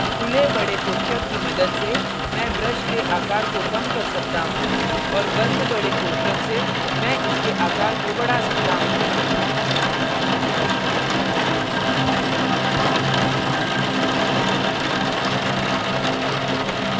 खुले बड़े कोष्ठक की मदद से मैं brush के आकार को कम कर सकता हूँ और बंद बड़े कोष्ठक से मैं इसके आकार को बढ़ा सकता हूँ